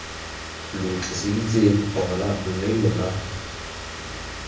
lo tliseditse ona mme lona